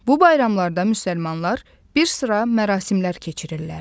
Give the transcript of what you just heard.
Bu bayramlarda müsəlmanlar bir sıra mərasimlər keçirirlər.